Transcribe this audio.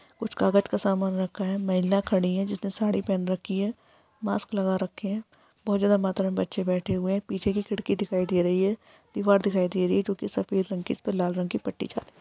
कुछ कागज का सामान रखा हैं। महिला खड़ी हैं। जिसने साड़ी पहन रखी हैं। मास्क लगा रखे हैं। बहुत ज्यादा मात्र मे बच्चे बैठे हुए हैं। पीछे की खिड़की दिखाई दे रही हैं। दीवार दिखाई दे रही है जो कि सफेद रंग की है जिस पर लाल रंग की पट्टी छा--